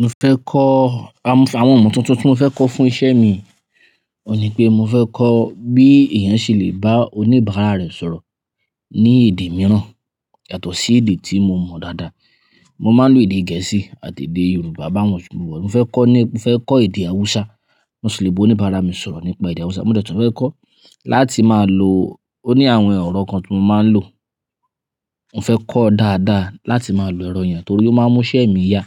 Mo fẹ́ kọ́, àwọn ohun tuntun tí mo fẹ́ kọ́ fún iṣẹ́ mi, ò ní pé mo fẹ́ kọ́ bí èèyàn ṣe lè bá oníbàárà rẹ̀ sọ̀rọ̀ ní èdè mìíràn yàtọ̀ sí èdè tí mo mọ̀ dáadáa. Mo máa ń lo èdè Gẹ̀ẹ́sì àti èdè Yorùbá bá wọn sùnmọ́. Mo fẹ́ kọ́ ní, mo fẹ́ kọ́ èdè Haúsá. Mo ṣì lè bá oníbàárà mi sọ̀rọ̀ nípa èdè Haúsá. Mo dẹ̀tùn fẹ́ kọ́ láti máa lo, ó ní àwọn erọ̀ kan tí mo máa ń lò. Mo fẹ́ kọ́ dáadáa láti máa lo ẹ̀rọ yẹn torí ó máa mú iṣẹ́ mi yá